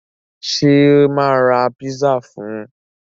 Ṣé mà ra pizza fún un?